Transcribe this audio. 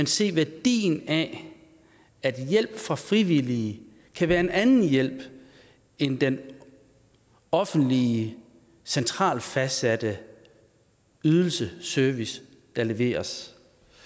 se værdien af at hjælp fra frivillige kan være en anden hjælp end den offentlige centralt fastsatte ydelse service der leveres